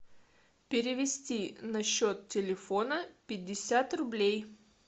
перевести на счет телефона пятьдесят рублей